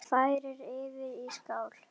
Færið yfir í skál.